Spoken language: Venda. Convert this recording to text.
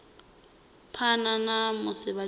phana ha musi vha tshi